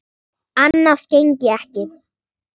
Annað gengi ekki.